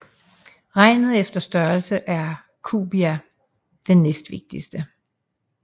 Regnet efter størrelse er Cubia den næstvigtigste